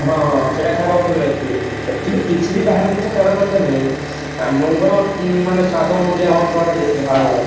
ହଁ ହଁ ହଁ ସେଇଟା ଖାଇବା କଥା ନୁହଁ actually actually କିଛି ବି ବାହାର ଜିନିଷ ଖାଇବା କଥା ନୁହେଁ ଆମ ମାନଙ୍କର ମାନେ ସ୍ଵାଦ ଅନୁଯାୟୀ ଆମେ